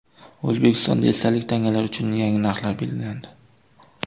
O‘zbekistonda esdalik tangalar uchun yangi narxlar belgilandi.